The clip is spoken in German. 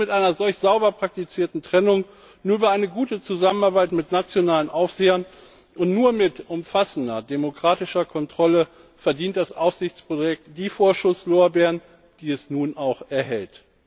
Nur mit einer solch sauber praktizierten Trennung, nur über eine gute Zusammenarbeit mit nationalen Aufsehern und nur mit umfassender demokratischer Kontrolle verdient das Aufsichtsprojekt die Vorschusslorbeeren, die es nun auch erhält.